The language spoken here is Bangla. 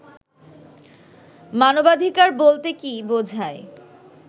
মানবাধিকার বলতে কি বোঝায়